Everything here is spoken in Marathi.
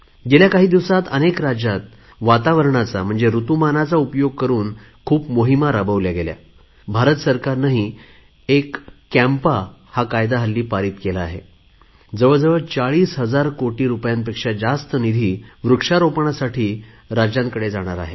गेल्या काही दिवसात अनेक राज्यात वातावरणाचा ऋतुमानाचा उपयोग करुन खूप मोहिमा राबवल्या गेल्या भारत सरकारने एक कॅम्पा कॅम्पा कायदा नुकताच संमत केला आहे जवळजवळ चाळीस हजार कोटी रुपयांपेक्षा जास्त निधी वृक्षारोपणासाठी राज्यांकडे जाणार आहे